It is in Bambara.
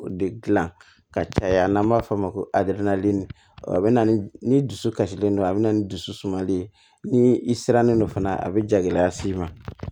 De gilan ka caya n'an b'a f'o ma ko aderadeli a bɛ na ni dusukasilen don a bɛ na ni dusu sumali ye ni i sirannen don fana a bɛ ja gɛlɛya s'i ma